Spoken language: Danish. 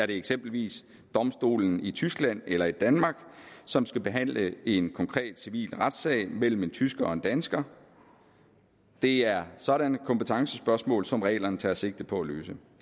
det eksempelvis domstolen i tyskland eller i danmark som skal behandle en konkret civil retssag mellem en tysker og en dansker det er sådanne kompetencespørgsmål som reglerne tager sigte på at løse